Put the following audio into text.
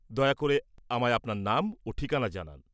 দয়া করে আমায় আপনার নাম ও ঠিকনা জানান।